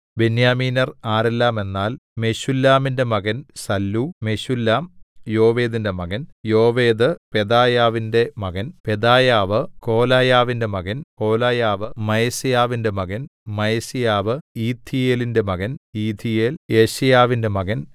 ബെന്യാമീന്യർ ആരെല്ലാമെന്നാൽ മെശുല്ലാമിന്റെ മകൻ സല്ലൂ മെശുല്ലാം യോവേദിന്റെ മകൻ യോവേദ് പെദായാവിന്റെ മകൻ പെദായാവ് കോലായാവിന്റെ മകൻ കോലായാവ് മയസേയാവിന്റെ മകൻ മയസേയാവ് ഇഥീയേലിന്റെ മകൻ ഇഥീയേൽ യെശയ്യാവിന്റെ മകൻ